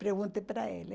Perguntei para ele.